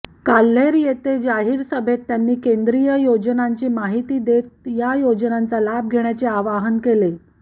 काल्हेर येथे जाहीर सभेत त्यांनी केंद्रीय योजनांची माहिती देत या योजनांचा लाभ घेण्याचे आवाहन केले